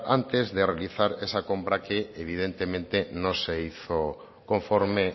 antes de realizar esa compra que evidentemente no se hizo conforme